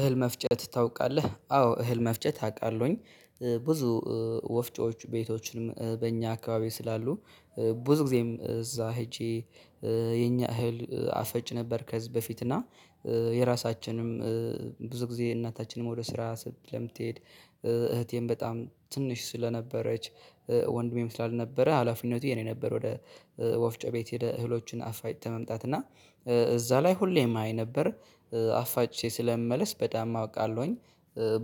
እህል መፍጨት ታውቃለህ አዎ እህል መፍጨት አውቃለሁኝ ብዙ ወፍጮች ቤቶችንም በእኛ አካባቢ ስላሉ ብዙ ጊዜም እዛ ሄጄ የኛ እህል አፈጭ ነበር። ከህዝብ በፊት እና። የራሳችንም ብዙ ጊዜ እናታችንም ወደ ስራ ስለምትሄድ እህቴም በጣም ትንሽ ስለነበረች ወንድሜ ስላል ነበረ ሀላፊነቱ የኔ ነበር። ወደ ወፍጮ ቤት ሂደህ እህሎችን አፋጭተህ መምጣት እና እዛ ላይ ሁሌም አይ ነበር አፋጭቸ ስለምመለስ በጣም አውቃለሁኝ።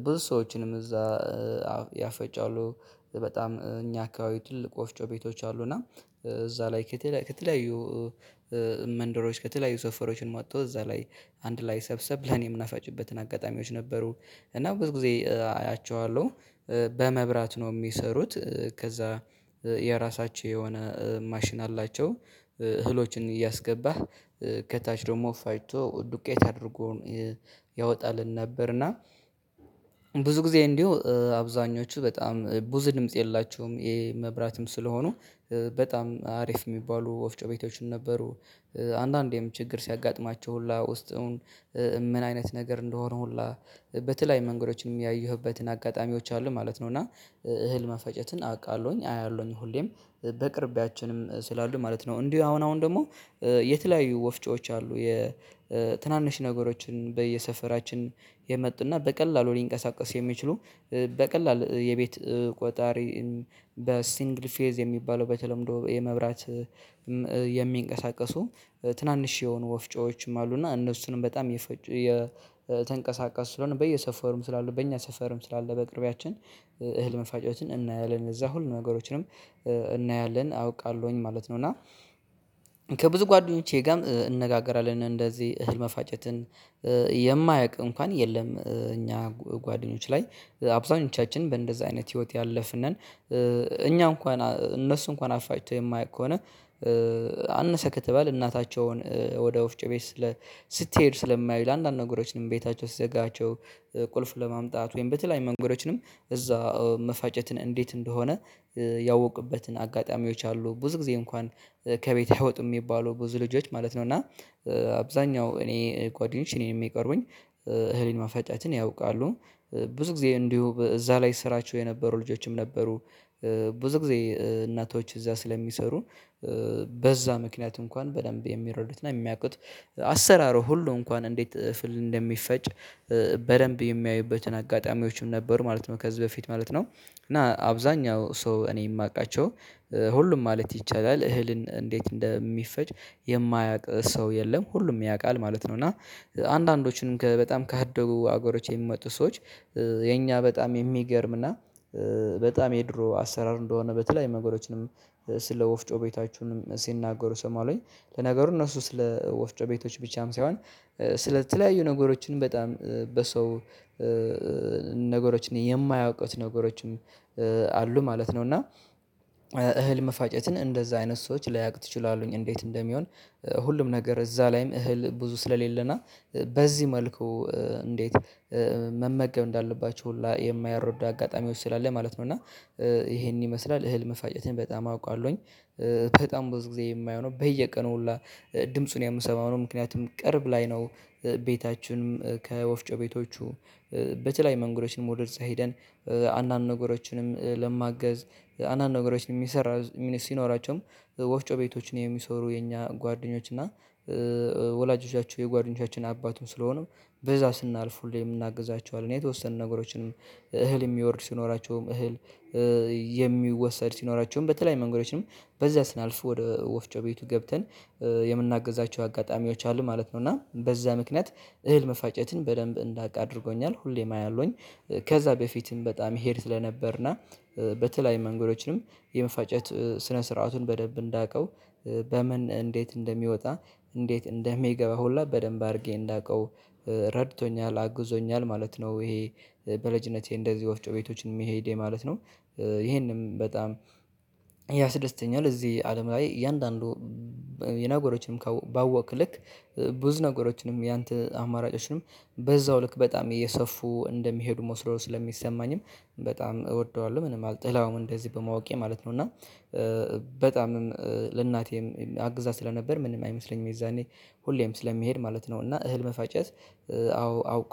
ብዙ ሰዎችንም እዛ ያፈጫሉ በጣም እኛ አካባቢ ትልቅ ወፍጮ ቤቶች አሉ። እና እዛ ላይ ከተለያዩ መንደሮች ከተለያዩ ሰፈሮችን መጥተው እዛ ላይ አንድ ላይ ሰብሰብ ለኔ የምናፋጭበትን አጋጣሚዎች ነበሩ። እና ብዙ ጊዜ አያቸዋለሁ። በመብራት ነው የሚሰሩት ከዛ የራሳቸው የሆነ ማሽን አላቸው። እህሎችን እያስገባህ ከታች ደግሞ ፋጭቶ ዱቄት አድርጎ ያወጣልን ነበርና እና። ብዙ ጊዜ እንዲሁ አብዛኞቹ በጣም ብዙ ድምጽ የላችሁም የመብራትም ስለሆኑ በጣም አሪፍ የሚባሉ ወፍጮ ቤቶችን ነበሩ። አንዳንዴም ችግር ሲያጋጥማቸው ሁላ ውስጥውን ምን አይነት ነገር እንደሆነ ሁላ በተለያዩ መንገዶችም ያየሁበትን አጋጣሚዎች አሉ ማለት ነው። እና እህል መፈጨትን አውቃለሁኝ አያለሁኝ ሁሌም በቅርቢያችንም ስላሉ ማለት ነው። እንዲህ አሁን አሁን ደግሞ የተለያዩ ወፍጮዎች አሉ የትናንሽ ነገሮችን በየሰፈራችን የመጡና በቀላሉ ሊንቀሳቀሱ የሚችሉ በቀላል የቤት ቆጣሪ በሲንግል ፌዝ የሚባለው በተለምዶ የመብራት የሚንቀሳቀሱ ትናንሽ የሆኑ ወፍጮዎችም አሉና። እነሱንም በጣም የፈጩ የተንቀሳቀስ ስለሆነ በየሰፈሩም ስላሉ በእኛ ሰፈርም ስላለ በቅርቢያችን እህል መፋጨትን እናያለን እዛ ሁሉ ነገሮችንም እናያለን አውቃለሁኝ ማለት ነው። እና ከብዙ ጓደኞቼ ጋርም እንነጋገራለን እንደዚህ እህል መፋጨትን የማያውቅ እንኳን የለም። እኛ ጓደኞች ላይ አብዛኞቻችን በእንደዚህ አይነት ህይወት ያለፍን ነን። እኛ እንኳን እነሱ እንኳን አፋጭቶ የማያውቁ ከሆነ አነሰ ከተባለ እናታቸውን ወደ ወፍጮ ቤት ስትሄድ ስለማዩ አንዳንድ ነገሮችንም ቤታቸው ሲዘጋቸው ቁልፍ ለማምጣት ወይም በተለያዩ መንገዶችንም እዛ መፋጨትን እንዴት እንደሆነ ያወቅበትን አጋጣሚዎች አሉ። ብዙ ጊዜ እንኳን ከቤት አይወጡም የሚባለው ብዙ ልጆች ማለት ነው። እና አብዛኛው እኔ ጓደኞቼ እኔን የሚቀርቡኝ እህል ማፈጫትን ያውቃሉ። ብዙ ጊዜ እንዲሁ እዛ ላይ ስራቸው የነበሩ ልጆችም ነበሩ። ብዙ ጊዜ እናቶች እዛ ስለሚሰሩ በዛ ምክንያት እንኳን በደንብ የሚረዱትና የሚያቅቱት አሰራሩ ሁሉ እንኳን እንዴት እፍል እንደሚፈጭ በደንብ የሚያዩበትን አጋጣሚዎችም ነበሩ ማለት ነው። ከዚህ በፊት ማለት ነው እና አብዛኛው ሰው እኔ የማውቃቸው ሁሉም ማለት ይቻላል እህልን እንዴት እንደሚፈጭ የማያውቅ ሰው የለም ሁሉም ያውቃል ማለት ነው። እና አንዳንዶችን በጣም ካደጉ ሀገሮች የሚመጡ ሰዎች የኛ በጣም የሚገርም እና በጣም የድሮ አሰራር እንደሆነ በተለያዩ መንገዶችንም ስለ ወፍጮ ቤታችንም ሲናገሩ እሰማለሁኝ። ለነገሩ እነሱ ስለ ወፍጮ ቤቶች ብቻም ሳይሆን ስለተለያዩ ነገሮችን በጣም በሰው ነገሮችን የማያውቁት ነገሮችም አሉ ማለት ነው። እና እህል መፋጨትን እንደዛ አይነት ሰዎች ላያውቁት ይችላሉ እንዴት እንደሚሆን ሁሉም ነገር እዛ ላይም እህል ብዙ ስለሌለና በዚህ መልኩ እንዴት መመገብ እንዳለባቸው ሁላ የማያረዱ አጋጣሚዎች ስላለ ማለት ነው። እና ይሄንን ይመስላል እህል መፋጨትን በጣም አውቃለሁኝ። በጣም ብዙ ጊዜ የማይሆነው በየቀኑ ሁላ ድምጹን የምሰማው ምክንያቱም ቅርብ ላይ ነው። ቤታችንም ከወፍጮ ቤቶቹ በተለያዩ መንገዶችንም ወደዛ ሄደን አንዳንድ ነገሮችንም ለማገዝ አንዳንድ ነገሮችንም የሚሰራ ሲኖራቸውም ወፍጮ ቤቶችን የሚሰሩ የኛ ጓደኞች እና ወላጆቻችሁ የጓደኞቻችን አባትን ስለሆኑ በዛ ስናልፍ ሁሌ የምናግዛቸው አለ የተወሰነ ነገሮችንም እህል የሚወርድ ሲኖራቸውም እህል የሚወሰድ ሲኖራቸውም በተለያዩ መንገዶችንም በዛ ስናልፍ ወደ ወፍጮ ቤቱ ገብተን የምናግዛቸው አጋጣሚዎች አሉ ማለት ነው። እና በዛ ምክንያት እህል መፋጨትን በደንብ እንዳውቅ አድርጎኛል ሁሌም አያለሁኝ። ከዛ በፊትም በጣም እሄድ ስለነበርና በተለያዩ መንገዶችንም የመፋጨት ስነ ስርዓቱን በደንብ እንዳውቀው በምን እንዴት እንደሚወጣ እንዴት እንደሚገባ ሁላ በደንብ አድርጌ እንዳውቀው ረድቶኛል አግዞኛል ማለት ነው። ይሄ በልጅነቴ እንደዚህ ወፍጮ ቤቶችን መሄዴ ማለት ነው። ይሄንም በጣም ያስደስተኛል። እዚህ አለም ላይ እያንዳንዱ የነገሮችንም ባወቅክ ልክ ብዙ ነገሮችንም ያንተ አማራጮችንም በዛው ልክ በጣም እየሰፉ እንደሚሄዱ መስሎ ስለሚሰማኝም በጣም እወደዋለሁ ምንም አልጥላውም እንደዚህ በማወቄ ማለት ነው። እና በጣምም ለእናቴም አግዛት ስለነበር ምንም አይመስለኝም የዛኔ ሁሌም ስለሚሄድ ማለት ነው። እና እህል መፋጨት አዎ አውቅ